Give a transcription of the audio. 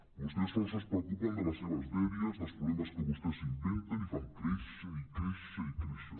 vostès sols es preocupen de les seves dèries dels problemes que vostès s’inventen i fan créi·xer i créixer i créixer